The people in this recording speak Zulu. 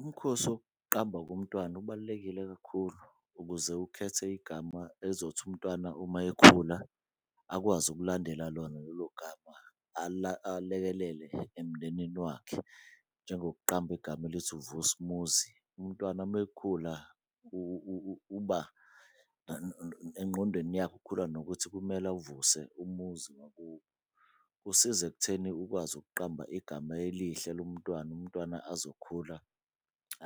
Umkhosi wokuqamba komntwana ubalulekile kakhulu ukuze ukhethe igama ezothi umntwana uma ekhula akwazi ukulandela lona lelo gama. Alekelele emndenini wakhe njengokuqamba igama elithi, uVusumuzi. Umntwana mekhula uba engqondweni yakhe ukhula nokuthi kumele awuvuse umuzi wakubo. Kusiza ekutheni ukwazi ukuqamba igama elihle lomntwana, umntwana azokhula